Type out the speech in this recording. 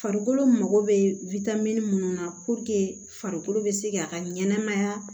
Farikolo mago bɛ minnu na farikolo bɛ se k'a ka ɲɛnɛmaya